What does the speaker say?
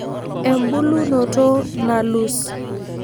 embulunoto nalus.